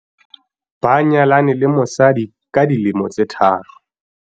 ba nyalane le mosadi ka dilemo tse tharo